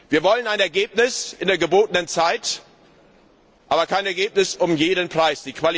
Wir wollen ein Ergebnis in der gebotenen Zeit, aber kein Ergebnis um jeden Preis.